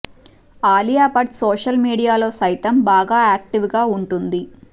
Alia Bhatt social మీడియాలో సైతం బాగా యాక్టివ్ గా ఉంటుంది